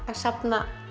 safna